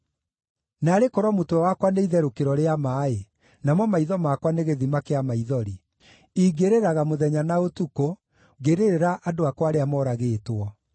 Naarĩ korwo mũtwe wakwa nĩ itherũkĩro rĩa maaĩ, namo maitho makwa nĩ gĩthima kĩa maithori! Ingĩrĩraga mũthenya na ũtukũ, ngĩrĩrĩra andũ akwa arĩa moragĩtwo.